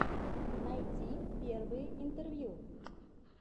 найти первые интервью